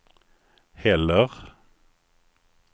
heller